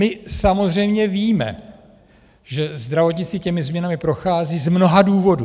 My samozřejmě víme, že zdravotnictví těmi změnami prochází z mnoha důvodů.